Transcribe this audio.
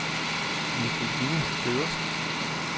Nicoline Feddersen